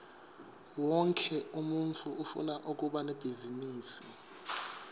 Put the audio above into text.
wonkhe umuntfu ufuna kuba nebhizinisi